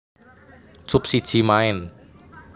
Cup siji maen